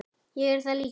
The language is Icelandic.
Ég er það líka.